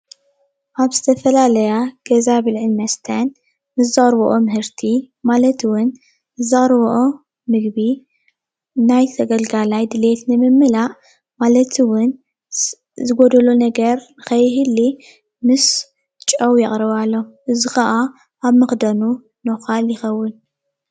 ኣብ ዝተፈላለያ ገዛ ብልዕን መስተን ንዘቅርብኦ ምህርቲ ማለት እውን ንዘቅርብኦ ምግቢ ናይ ተገልጋላይ ድሌት ንምምላእ ማለት ኣውን ዝ ዝጎዶሎ ነገር ኸይህሊ ምስ ጨው የቅርባሎም እዚ ኸኣ ኣብ መኽደኑ ኖኻል ይከውን።